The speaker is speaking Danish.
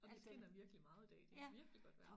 Og den skinner virkelig meget i dag det virkelig godt vejr